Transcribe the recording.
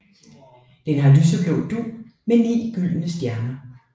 Det har lyseblå dug med ni gyldne stjerner